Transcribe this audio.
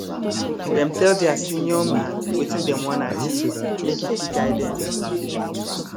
dem tell their senior man wetin dem wan achieve make e fit guide dem